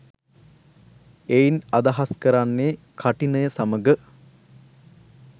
එයින් අදහස් කරන්නේ කඨිනය සමඟ